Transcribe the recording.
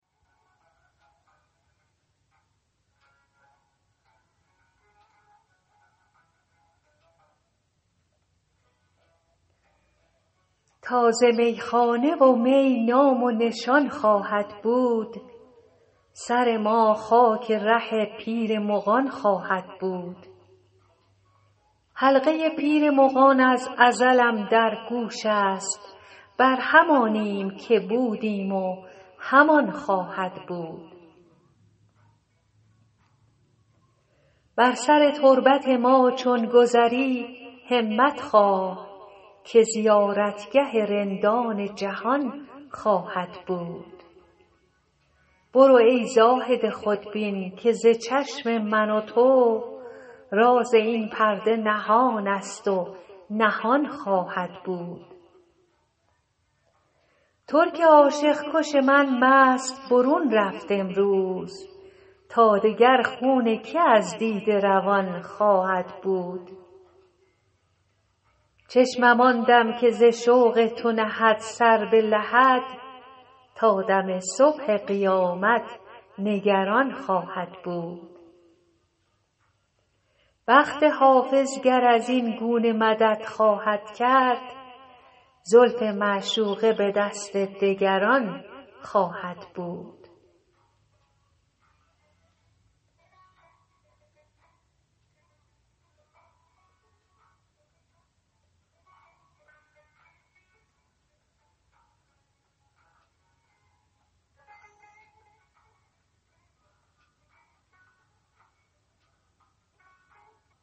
تا ز میخانه و می نام و نشان خواهد بود سر ما خاک ره پیر مغان خواهد بود حلقه پیر مغان از ازلم در گوش است بر همانیم که بودیم و همان خواهد بود بر سر تربت ما چون گذری همت خواه که زیارتگه رندان جهان خواهد بود برو ای زاهد خودبین که ز چشم من و تو راز این پرده نهان است و نهان خواهد بود ترک عاشق کش من مست برون رفت امروز تا دگر خون که از دیده روان خواهد بود چشمم آن دم که ز شوق تو نهد سر به لحد تا دم صبح قیامت نگران خواهد بود بخت حافظ گر از این گونه مدد خواهد کرد زلف معشوقه به دست دگران خواهد بود